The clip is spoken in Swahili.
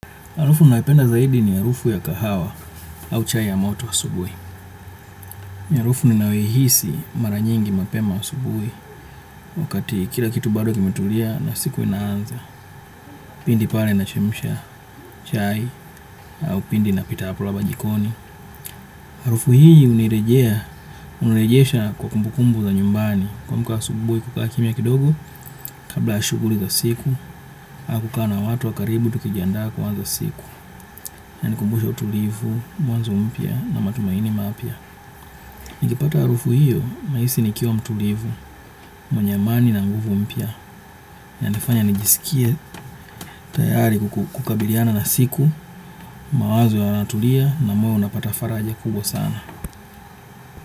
Harufu nayopenda zaidi ni harufu ya kahawa au chai ya moto wa asubui. Harufu ni nayoihisi maranyingi mapema asubui wakati kila kitu bado kimetulia na siku inaanza. Pindi pale na chemsha chai au pindi na pitaapula jikoni. Harufu hii unirejea, unirejeesha kwa kumbukumbu za nyumbani. Kuamka asubui kukaa kimya kidogo kabla shuguli za siku au kukaa na watu wa karibu tukijiandaa kuanza siku. Ya nikumbusha utulivu, mwanzo mpya na matumaini mapya. Nikipata harufu hiyo, nahisi nikiwa mtulivu, mwenye amani na nguvu mpya. Ya nifanya nijisikie tayari kukabiliana na siku, mawazo ya natulia na moyo unapata faraja kubwa sana.